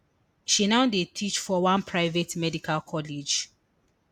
she now dey teach for one private medical college